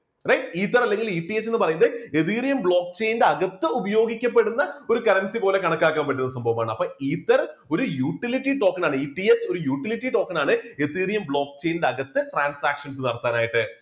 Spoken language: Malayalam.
ether അല്ലെങ്കിൽ ETH എന്ന് പറയുന്ന etheriumblock chain അകത്ത് ഉപയോഗിക്കപ്പെടുന്ന ഒരു currency പോലെ കണക്കാക്കാൻ പറ്റുന്ന സംഭവമാണ്. അപ്പോ ether ഒരു utility token ആണ് ETH ഒരു utility token ആണ്. ethereum block chain ന്റെ അകത്ത് transactions നടത്താൻ ആയിട്ട്